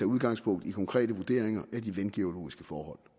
udgangspunkt i konkrete vurderinger af de vandgeologiske forhold